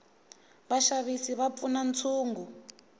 vaxavisi va pfuna ntshungu